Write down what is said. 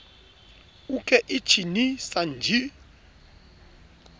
uke ichi ni san ji